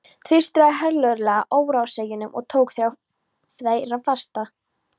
Tvístraði herlögreglan óróaseggjunum og tók þrjá þeirra fasta.